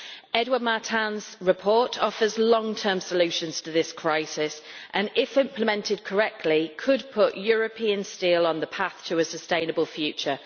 Edouard Martin's report offers long term solutions to this crisis and, if implemented correctly, could put European steel on the path to a sustainable future.